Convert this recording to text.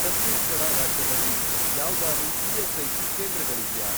ಛತ್ತೀಸ್ಗಢ ರಾಜ್ಯದಲ್ಲಿ ಯಾವ್ದಾರೂ ಇ.ಎಸ್.ಐ.ಸಿ. ಕೇಂದ್ರಗಳಿವ್ಯಾ?